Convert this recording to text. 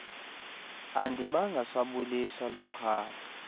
andibanga sabulisa lixhala